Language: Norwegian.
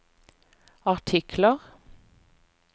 artikler